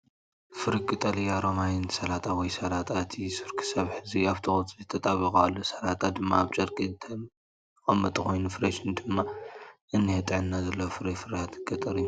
ፍሩይ ቀጠልያ ሮማይን ሰላጣ ወይ ሰላጣ። እቲ ሱር ክሳብ ሕጂ ኣብቲ ቆጽሊ ተጣቢቑ ኣሎ፣ ሰላጣ ድማ ኣብ ጨርቂ ዝተቐመጠ ኮይኑ ፍሬሽን ድማ እኒሄ። ጥዕና ዘለዎን ፍሩይን ፍርያት ገጠር እዩ